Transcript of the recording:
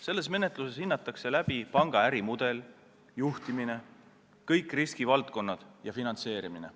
Selles menetluses hinnatakse panga ärimudelit, juhtimist, kõiki riskivaldkondi ja finantseerimist.